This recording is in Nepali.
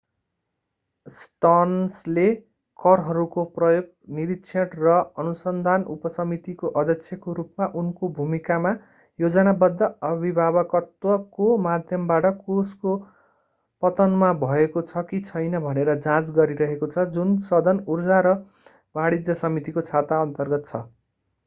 स्टर्न्सले करहरूको प्रयोग निरीक्षण र अनुसन्धान उपसमितिको अध्यक्षको रूपमा उनको भूमिकामा योजनाबद्ध अभिभावकत्वको माध्यमबाट कोषको पतनमा भएको छ कि छैन भनेर जाँच गरिरहेको छ जुन सदन ऊर्जा र वाणिज्य समितिको छाता अन्तर्गत छ